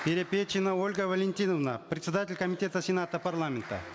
перепечина ольга валентиновна председатель комитета сената парламента